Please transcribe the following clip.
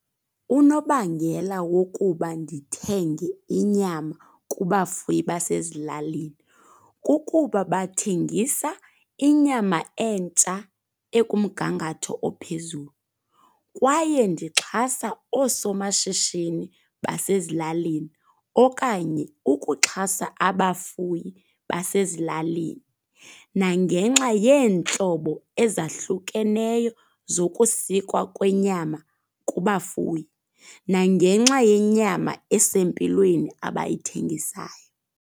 Unobangela wokuba ndithenge inyama kubafuyi basezilalini kukuba bathengisa inyama entsha ekumngangatho ophezulu. Kwaye ndixhasa oosomashishini basezilalini okanye ukuxhasa abafuyi basezilalini. Nangenxa yeentlobo ezahlukeneyo zokusikwa kwenyama kubafuyi. Nangenxa yenyama esempilweni abayithengisayo.